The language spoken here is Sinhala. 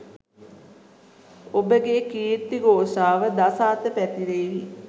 ඔබගේ කීර්ති ගෝෂාව දස අත පැතිරේවි.